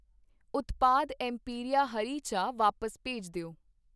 ਉਤਪਾਦ ਐੱਮਪੀਰੀਆ ਹਰੀ ਚਾਹ ਵਾਪਸ ਭੇਜ ਦਿਓ